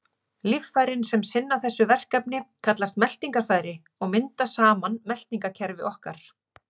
Líffærin sem sinna þessu verkefni kallast meltingarfæri og mynda saman meltingarkerfi okkar.